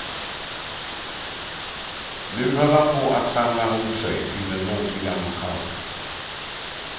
Nu höll han på att samla ihop sig till den muntliga knockouten.